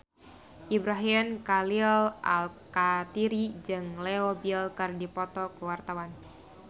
Ibrahim Khalil Alkatiri jeung Leo Bill keur dipoto ku wartawan